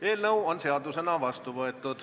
Eelnõu on seadusena vastu võetud.